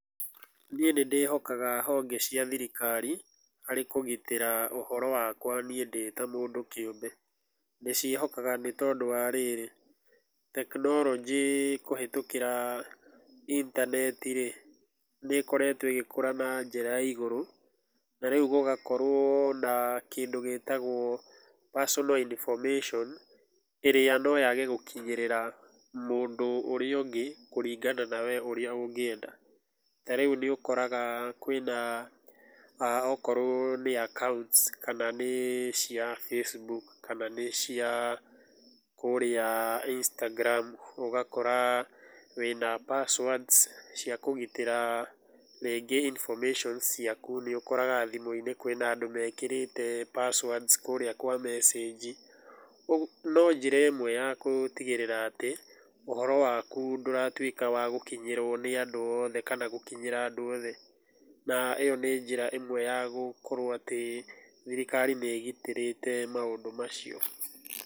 Niĩ nĩndĩhokaga honge cia thirikari harĩ kũgitĩra ũhoro wakwa niĩ ndĩta mũndũ kĩũmbe, ndĩciĩhokaga nĩtondũ wa rĩrĩ, technology kũhĩtũkĩra intaneti-rĩ, nĩkoretwo ĩgĩkũra na njĩra ya igũrũ na rĩu gũgakorwo na kĩndũ gĩtagwo personal information ĩrĩa noyage gũkinyĩrĩra mũndũ ũrĩa ũngĩ kũringana na wee ũrĩa ũngĩenda. Tarĩu nĩũkoraga kwĩna akorwo nĩ accounts kana nĩ cia Facebook kana ni cia kũría Instagram ugakora wĩna passwords cia kũgitĩra rĩngĩ s ciaku nĩũkoraga thimũ-inĩ kwĩna andũ mekĩrĩte passwords kũrĩa kwa message. No njĩra ĩmwe ya gũtigĩrĩra atĩ ũhoro waku ndũratwĩka wa gũkinyĩrwo nĩ andũ othe kana gũkinyĩra andũ othe na íyo nĩ njĩra ĩmwe ya gũkorwo atĩ thirikari nĩ ĩgitĩrĩte maũndũ macio.